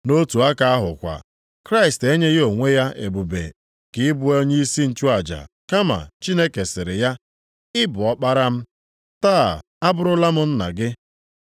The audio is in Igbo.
Nʼotu aka ahụ kwa, Kraịst enyeghị onwe ya ebube nke ịbụ onyeisi nchụaja, kama Chineke sịrị ya, “Ị bụ Ọkpara m. Taa abụrụla m Nna gị.” + 5:5 \+xt Abụ 2:7\+xt*